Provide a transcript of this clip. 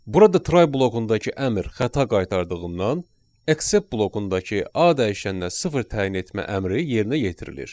Burada try blokundakı əmr xəta qaytardığından, accept blokundakı A dəyişəninə sıfır təyin etmə əmri yerinə yetirilir.